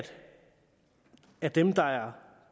at dem der er